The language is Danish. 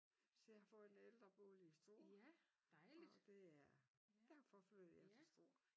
Så jeg har fået en ældrebolig i Struer og det er derfor flytter jeg til Struer